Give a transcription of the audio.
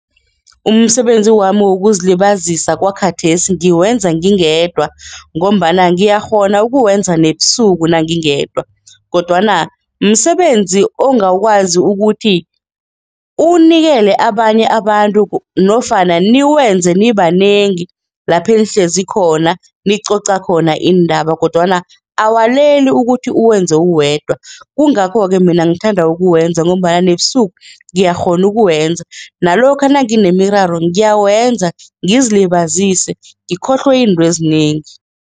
Umsebenzi wami wokuzilibazisa kwakhathesi ngikwenza ngingedwa ngombana ngiyakghona ukuwenza nebusuku nangingedwa kodwana msebenzi ongakwazi ukuthi uwunikele abanye abantu nofana niwenze nibanengi lapha nihlezi khona, nicoca khona iindaba kodwana awaleli ukuthi uwenze uwenza yedwa kungakho ke mina ngithanda ukuwenza ngombana nebusuku ngiyakghona ukuwenza nalokha nanginemiraro ngiyawenza ngizilibazise ngikhohlwe intwezinengi.